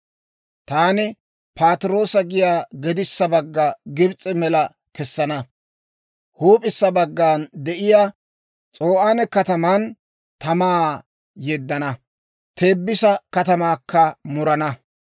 Taani Patiroosa giyaa gedissa bagga Gibs'e mela kessana; huup'issa baggana de'iyaa S'o'aane kataman tamaa yeddana; Teebisa katamaakka murana.